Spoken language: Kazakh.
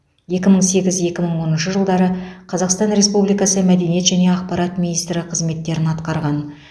екі мың сегіз екі мың оныншы жылдары қазақстан республикасы мәдениет және ақпарат министрі қызметтерін атқарған